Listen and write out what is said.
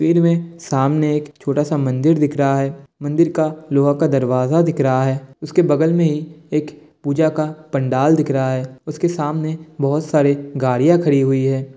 तस्वीर में सामने एक छोटा सा मंदिर दिख रहा है। मंदिर का लोहा का दरवाज़ा दिख रहा है। उसके बगल में ही एक पूजा का पंडाल दिख रहा है। उसके सामने बहुत सारी गाड़ियां खड़ी हुई है।